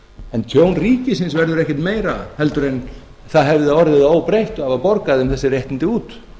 en tjón ríkisins verður ekkert meira heldur en það hefði orðið óbreytt af að borga þeim þessi réttindi út